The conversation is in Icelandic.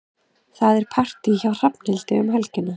Það er partí hjá Hrafnhildi um helgina.